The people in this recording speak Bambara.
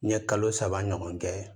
N ye kalo saba ɲɔgɔn kɛ